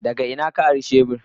Daga ina ka ari shebur?